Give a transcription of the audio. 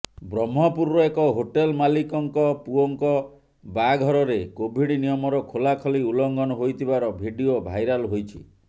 ବ୍ରହ୍ମପୁରର ଏକ ହୋଟେଲ ମାଲିକଙ୍କ ପୁଅଙ୍କ ବାହାଘରରେ କୋଭିଡ୍ ନିୟମର ଖୋଲାଖୋଲି ଉଲ୍ଲଂଘନ ହୋଇଥିବାର ଭିଡିଓ ଭାଇରାଲ୍ ହୋଇଛି